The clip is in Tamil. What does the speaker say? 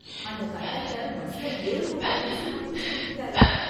அந்த கண்டக்டர் பஸ்ல ஏறுன உடனே சீட்டு புடிச்சு கொடுத்துட்டாரு.